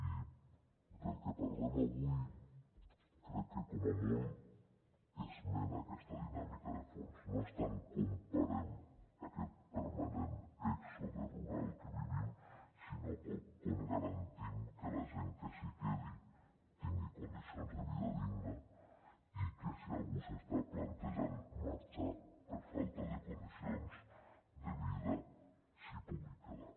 i del que parlem avui crec que com a molt esmena aquesta dinàmica de fons no és tant com parem aquest permanent èxode rural que vivim sinó com garantim que la gent que s’hi quedi tingui condicions de vida digna i que si algú s’està plantejant marxar per falta de condicions de vida s’hi pugui quedar